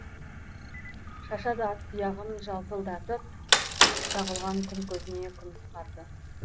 шашады ат тұяғын жалтылдатып шағылған күн көзіне күміс қарды